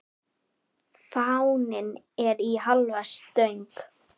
Fáninn er í hálfa stöng.